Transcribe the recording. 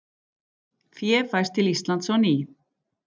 Fé fæst til Íslands á ný